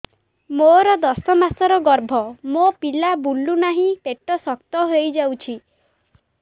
ମୋର ଦଶ ମାସର ଗର୍ଭ ମୋ ପିଲା ବୁଲୁ ନାହିଁ ପେଟ ଶକ୍ତ ହେଇଯାଉଛି